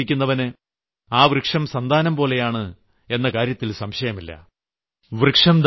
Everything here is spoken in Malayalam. വൃക്ഷം നട്ടുപിടിപ്പിക്കുന്നവന് ആ വൃക്ഷം സന്താനംപോലെയാണ് എന്ന കാര്യത്തിൽ സംശയമില്ല